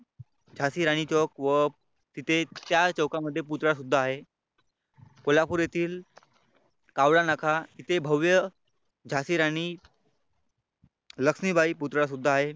झाशी राणी चौक व तिथे चार चौकामध्ये पुतळा सुद्धा आहे. कोल्हापूर येथील कावळा नाका येथे भव्य झाशी राणी लक्ष्मीबाई पुतळा सुद्धा आहे.